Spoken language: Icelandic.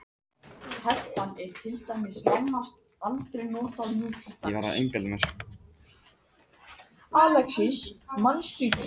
Allt rafmagn fór af álverinu